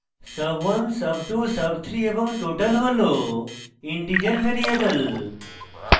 sub1 sub2 sub3 এবং total হল integer variable